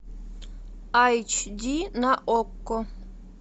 айч ди на окко